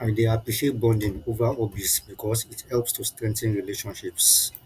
i dey appreciate bonding over hobbies because it helps to strengthen relationships